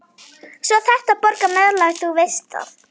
Svo þarftu að borga meðlag, þú veist það.